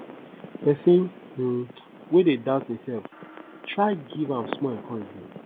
pesin um wey dey doubt imself try giv am small encouragement